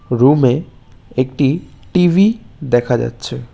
Room -এ একটি TV দেখা যাচ্ছে।